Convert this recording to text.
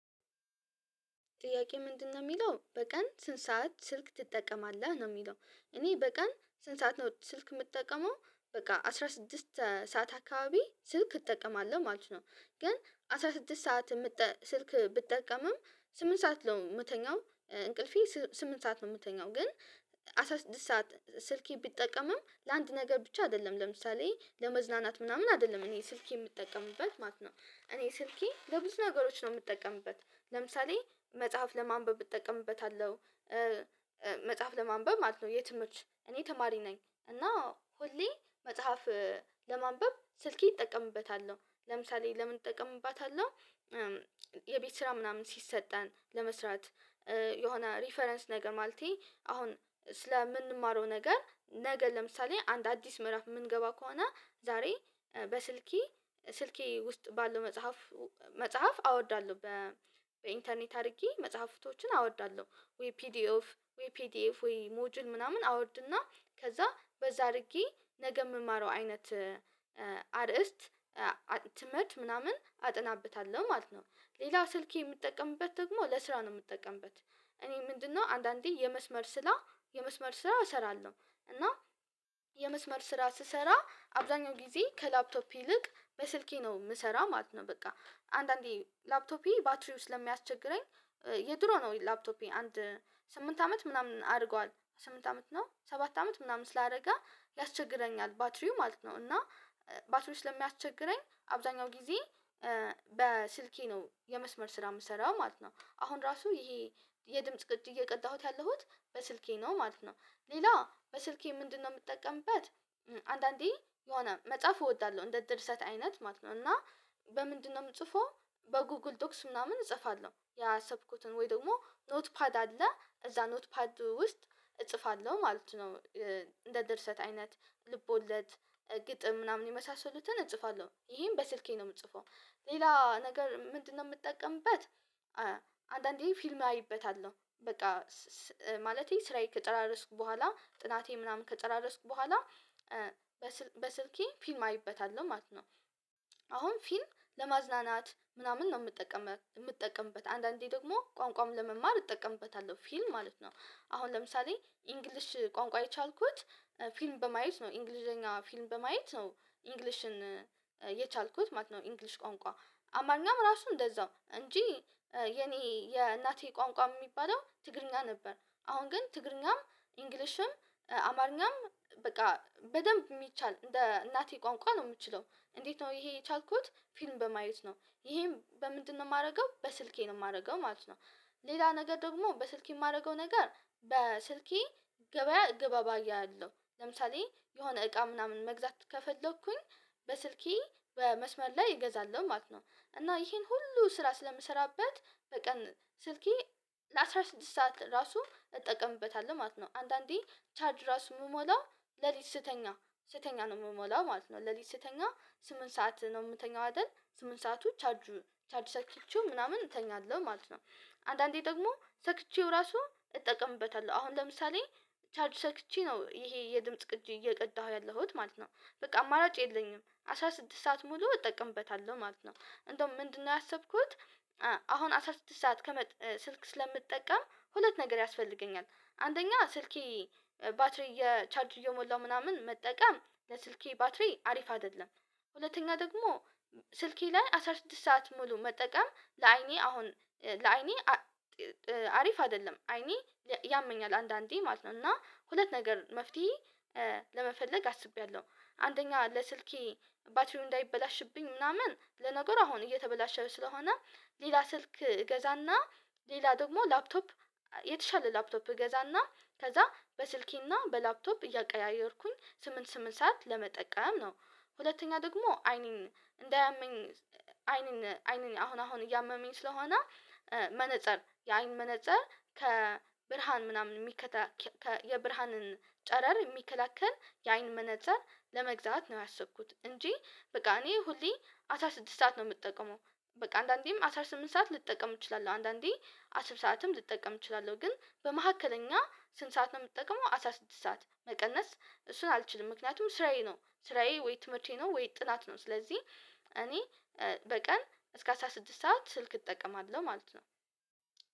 ጥያቄ ምንድነው የሚለው በቀን ስንት ሰዓት ስልክ ትጠቀማለህ ነው የሚለው? እኔ በቀን ስንት ሰዓት ነው ስልክ የምትጠቀመው? በቃ አስራ ስድስት ሰዓት አካባቢ ስልክ እጠቀማለሁ ማለት ነው። ግን አስራ ስድስት ሰዓት ስልክ ብጠቀምም ስምንት ሰዓት ነው የምተኛው እንቅልፌ ስምንት ሰዓት ነው የምተኛው። ግን አስራ ስድስት ሰዓት ስልኬን ብጠቀምም ለአንድ ነገር ብቻ አይደለም ለምሳሌ ለመዝናናት ምናምን አይደለም እኔ ስልኬን የምጠቀምበት ማለት ነው። እኔ ስልኬ ለብዙ ነገሮች ነው የምጠቀምበት ለምሳሌ መጽሐፍ ለማንበብ እጠቀምበታለሁ። መጽሐፍ ለማንበብ ማለት ነው የትምህርት እኔ ተማሪ ነኝ እና ሁሌ መጽሐፍ ለማንበብ ስልኬን እጠቀምበታለሁ። ለምሳሌ ለምን እጠቀምበታለሁ የቤት ስራ ምናምን ሲሰጠን ለመስራት። የሆነ ሪፈረንስ ነገር ማለቴ አሁን ስለምንማረው ነገር ነገ ለምሳሌ አንድ አዲስ ምዕራፍ የምንገባ ከሆነ ዛሬ በስልኬ ስልኬ ውስጥ ባለው መጽሐፍ መጽሐፍ አወርዳለሁ። በኢንተርኔት አድርጌ መጽሐፍቶችን አወርዳለሁ ወይ ፒዲኤፍ ወይ ሞጁል ምናምን አወርድና ከዛ በዛ አድርጌ ነገ የምማረው አይነት አርእስት ትምህርት ምናምን አጠናበታለሁ ማለት ነው። ሌላው ስልኬን የምጠቀምበት ደግሞ ለስራ ነው የምጠቀምበት። እኔ ምንድነው አንዳንዴ የመስመር ስራ እሰራለሁ እና የመስመር ስራ ስሰራ አብዛኛው ጊዜ ከላፕቶፕ ይልቅ በስልኬ ነው የምሰራው ማለት ነው። በቃ አንዳንዴ ላፕቶፔ ባትሪው ለሚያስቸግረኝ የድሮ ነው ላፕቶፔ አንድ ስምንት አመት ምናምን አድርጓል ስምንት አመት ነው ሰባት አመት ምናምን ስላደረገ ያስቸግረኛል። ባትሪው ማለት ነው እና ባትሪው ስለሚያስቸግረኝ አብዛኛው ጊዜ በስልኬ ነው የመስመር ስራ የምሰራው ማለት ነው። አሁን ራሱ ይሄ የድምጽ ቅጅ እየቀዳሁት ያለሁት በስልኬ ነው ማለት ነው። ሌላ በስልኬ ምንድነው የምጠቀምበት? አንዳንዴ የሆነ መጽሐፍ እወዳለሁ እንደ ድርሰት አይነት ማለት ነው እና በምንድነው የምጽፈው በጉግል ዶክስ ምናምን እጽፋለሁ ያሰብኩትን ወይ ደግሞ ኖትፓድ አለ እዛ ኖትፓድ ውስጥ እጽፋለሁ ማለት ነው። እንደ ድርሰት አይነት ልቦለድ ግጥም ምናምን የመሳሰሉትን እጽፋለሁ ይሄን በስልኬ ነው የምጽፈው። ሌላ ነገር ምንድነው የምጠቀምበት? አንዳንዴ ፊልም አይበታለሁ በቃ ማለቴ ስራዬ ከጨራረስኩ በኋላ ጥናቴን ምናምን ከጨራረስኩ በኋላ በስልኬ ፊልም አይበታለሁ ማለት ነው። አሁን ፊል ለማዝናናት ምናምን ነው የምጠቀምበት አንዳንዴ ደግሞ ቋንቋውን ለመማር እጠቀምበታለሁ ፊልም ማለት ነው። አሁን ለምሳሌ ኢንግሊሽ ቋንቋ የቻልኩት ፊልም በማየት ነው እንግሊዘኛ ፊልም በማየት ነው። እንግሊሽን የቻልኩት ማለት ነው። እንግሊሽ ቋንቋ አማርኛም ራሱን እንደዛው እንጂ የኔ የእናቴ ቋንቋ የሚባለው ትግርኛ ነበር አሁን ግን ትግርኛም ኢንግሊሽም አማርኛም በቃ በደንብ የሚቻል እንደ እናቴ ቋንቋ ነው የምችለው። እንዴት ነው ይሄ የቻልኩት ፊልም በማየት ነው። ይሄም በምንድነው የማደርገው በስልኬ ነው የማደርገው ማለት ነው። ሌላ ነገር ደግሞ በስልኬ የማደርገው ነገር በስልኬ ገበያ እገበያያለሁ ለምሳሌ የሆነ እቃ ምናምን መግዛት ከፈለኩኝ በስልኬ በመስመር ላይ እገዛለሁ ማለት ነው። እና ይሄን ሁሉ ስራ ስለምሰራበት በቀን ስልኬ ለአስራ ስድስት ሰዓት ራሱ እጠቀምበታለሁ ማለት ነው አንዳንዴ ቻርጅ ራሱ ምሞላው ሌሊት ስተኛ ነው ምሞላው ማለት ነው። ሌሊት ስተኛ ስምንት ሰዓት ነው የምተኛው አይደል ስምንት ሰዓት ቻርጅ ሰክቸው ምናምን እተኛለሁ ማለት ነው። አንዳንዴ ደግሞ ሰክቼው ራሱ እጠቀምበታለሁ አሁን ለምሳሌ ቻርጅ ሰክቼ ነው ይሄ የድምጽ ቅጂ እየቀዳሁ ያለሁት ማለት ነው። በቃ አማራጭ የለኝም አስራ ስድስት ሰዓት ሙሉ እጠቀምበታለሁ ማለት ነው። እንደውም ምንድነው ያሰብኩት? አሁን አስራ ስድስት ሰዓት ስልክ ስለምጠቀም ሁለት ነገር ያስፈልገኛል አንደኛ ስልኬ ባትሪ የቻርጅ እየሞላው ምናምን መጠቀም ለስልኬ ባትሪ አሪፍ አይደለም። ሁለተኛ ደግሞ ስልኬ ላይ አስራ ስድስት ሰዓት ሙሉ መጠቀም ለአይኔ አሁን ለአይኔ አሪፍ አይደለም አይኔን ያመኛል አንዳንዴ ማለት ነው እና ሁለት ነገር መፍትሄ። ለመፈለግ አስቤያለሁ። አንደኛ ለስልኬ ባትሪው እንዳይበላሽብኝ ምናምን ለነገሩ አሁን እየተበላሸ ስለሆነ ሌላ ስልክ እገዛና ሌላ ደግሞ ላፕቶፕ የተሻለ ላፕቶፕ እገዛና ከዛ በስልኬና በላፕቶፕ እያቀያየርኩኝ ስምንት ስምንት ሰዓት ለመጠቀም ነው። ሁለተኛ ደግሞ አይኔን እንዳያመኝ አይኔን አሁን አሁን እያመመኝ ስለሆነ። መነፀር የአይን መነፀር ከብርሃን ምናምን የሚከላከል የብርሃንን ጨረር የሚከላከል የአይን መነፅር ለመግዛት ነው ያሰብኩት እንጂ በቃ እኔ ሁሌ አስራ ስድስት ሰዓት ነው የምጠቀመው። በቃ አንዳንዴም አስራ ስምንት ሰዓት ልጠቀም እችላለሁ አንዳንዴ አስር ሰዓትም ልትጠቀም እችላለሁ ግን በመካከለኛ ስንት ሰዓት ነው የምትጠቀመው? አስራ ስድስት ሰዓት መቀነስ እሱን አልችልም። ምክንያቱም ስራዬ ነው ስራዬ ወይ ትምህርቴ ነው ወይ ጥናት ነው ስለዚህ እኔ በቀን እስከ አስራ ስድስት ሰዓት ስልክ እጠቀማለሁ ማለት ነው።